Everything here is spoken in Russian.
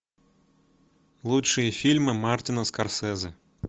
лучшие фильмы мартина скорсезе